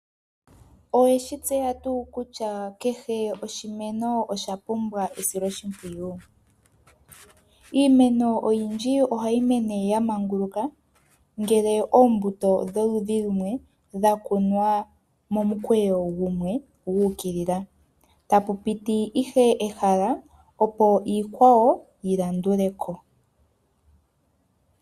Oweshi tseya tuu kutya kehe oshimeno osha pumbwa esiloshimpwiyu? Iimeno oyindji ohayi mene ya manguluka ngele oombuto dholudhi lumwe dha kunwa momukweyo gumwe gu ukilila, tapu piti ihe ehala opo iikwawo yi landule ko.